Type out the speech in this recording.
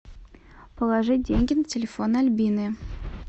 положи деньги на телефон альбины